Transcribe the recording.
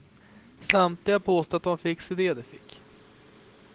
Samtliga påstår att det var en fix idé de fick.